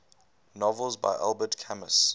novels by albert camus